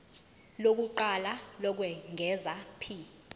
lokuqala lokwengeza p